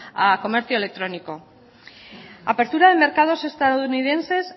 al comercio electrónico apertura de mercados estadounidenses